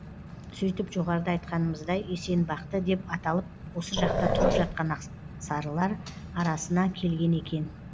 сөйтіп жоғарыда айтқанымыздай есенбақты деп аталып осы жақта тұрып жатқан ақсарылар арасына келген екен